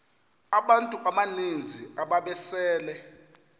abantu abaninzi ababesele